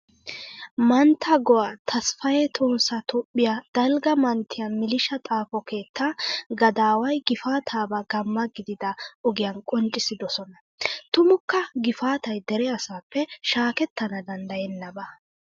Mantta go"a tasfaayee tohossa toophphiya dalgga manttiya milliishaa xaafo keettaa gadaaway gifaataabaa gamma gidida ogiyan qonccissidosona. Tumukka gifaatay dere asaappe shaakettana danddayennaba.